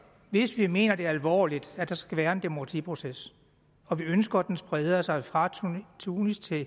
hvis vi mener alvorligt at der skal være en demokratiproces og vi ønsker at den spreder sig fra tunesien